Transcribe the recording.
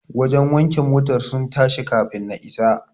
Wajen wanke motar sun tashi kafun na isa.